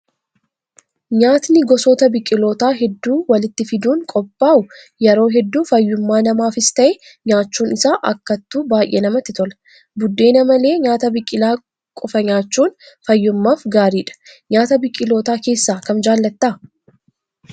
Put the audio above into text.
Nyaatni gosoota biqilootaa hedduu walitti fiduun qophaa'u yeroo hedduu fayyummaa namaafis ta'ee nyaachuun isaa akkattuu baay'ee namatti tola. Buddeena malee nyaata biqilaa qofaa nyaachuun fayyummaaf gaariidha. Nyaata biqilootaa keessaa kam jaallattaa?